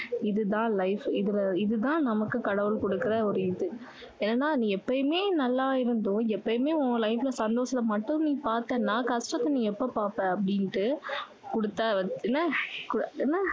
இது தான் life இது தான் நமக்கு கடவுள் கொடுக்குற ஒரு இது ஏன்னா நீ எப்பயுமே நல்லா இருந்தும் எப்பயுமே உன் life ல சந்தோஷம் மட்டுமே நீ பார்த்தன்னா கஷ்டத்த நீ எப்போ பார்ப்ப அப்படின்னு கொடுத்த என்ன என்ன